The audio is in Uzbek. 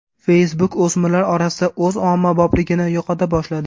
Facebook o‘smirlar orasida o‘z ommabopligini yo‘qota boshladi.